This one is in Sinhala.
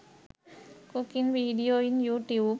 cooking video in you tube